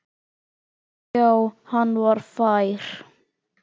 Já, hann var fær!